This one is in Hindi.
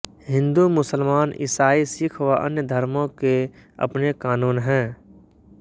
हिंदू मुसलमान ईसाई सिक्ख व अन्य धर्मों के अपने कानून हैं